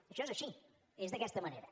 això és així és d’aquesta manera